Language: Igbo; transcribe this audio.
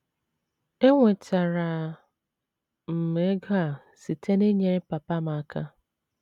Enwetara m ego a site n’inyere papa m aka.